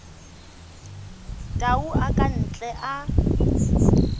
tau a ka ntle a